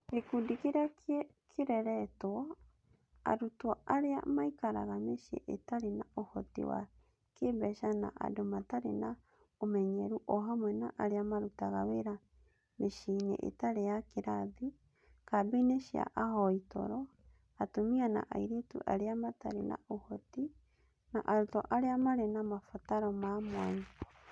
Gĩkundi kĩrĩa kĩreretwo: Arutwo arĩa maikaraga mĩciĩ itarĩ na ũhoti wa kĩĩmbeca na andũ matarĩ na ũmenyeru, o hamwe na arĩa marutaga wĩra mĩciĩ-inĩ ĩtarĩ ya kĩrathi, kambĩ-inĩ cia ahoi toro, atumia na airĩtu arĩa matarĩ na ũhoti, na arutwo arĩa marĩ na mabataro ma mwanya.